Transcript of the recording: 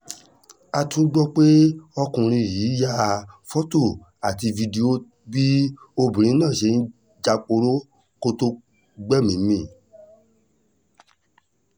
a tún gbọ́ pé ọkùnrin yìí ya fọ́tò àti fídíò bí obìnrin náà ṣe ń jáporo kó tóó gbẹ́mìí mì